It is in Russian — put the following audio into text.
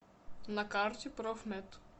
на карте профмед